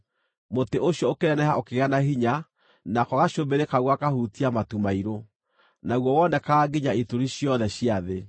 Mũtĩ ũcio ũkĩneneha ũkĩgĩa na hinya nako gacũmbĩrĩ kaguo gakahutia matu mairũ; naguo wonekaga nginya ituri ciothe cia thĩ.